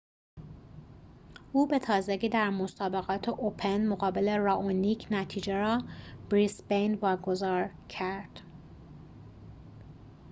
او به تازگی در مسابقات اوپن brisbane مقابل رائونیک نتیجه را واگذار کرد